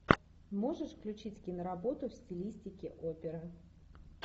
можешь включить киноработу в стилистике опера